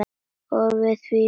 Og við erum því fegnar.